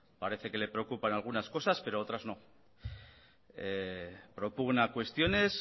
parece que le preocupan algunas cosas pero otras no propugna cuestiones